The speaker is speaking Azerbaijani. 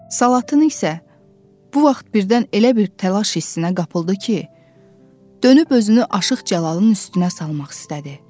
Salatın isə bu vaxt birdən elə bir təlaş hissinə qapıldı ki, dönüb özünü Aşıq Cəlalın üstünə salmaq istədi.